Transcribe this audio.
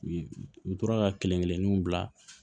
U u tora ka kelen kelenninw bila